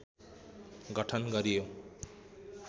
गठन गरियो